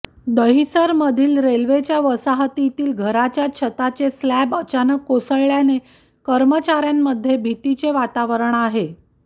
दहिसरमधील रेल्वेच्या वसाहतीतील घराच्या छताचे स्लॅब अचानक कोसळल्याने कर्मचाऱ्यांमध्ये भीतीचे वातावरण आहे